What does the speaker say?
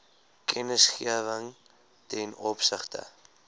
kennisgewing ten opsigte